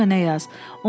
Arada mənə yaz.